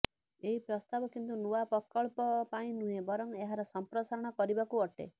ଏହି ପ୍ରସ୍ତାବ କିନ୍ତୁ ନୂଆ ପ୍ରକଳ୍ପ ପାଇଁ ନୁହେଁ ବରଂ ଏହାର ସଂପ୍ରସାରଣ କରିବାକୁ ଅଟେ